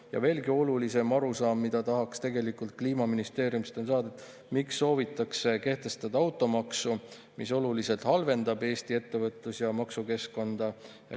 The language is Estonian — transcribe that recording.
Ja veelgi olulisem arusaam, mida tahaks tegelikult kliimaministeeriumist veel saada: miks soovitakse kehtestada automaksu, mis oluliselt halvendab Eesti ettevõtlus- ja maksukeskkonda?